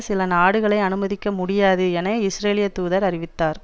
சில நாடுகளை அனுமதிக்க முடியாது என இஸ்ரேலிய தூதர் அறிவித்தார்